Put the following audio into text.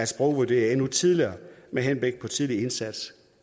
sprogvurdere endnu tidligere med henblik på en tidlig indsats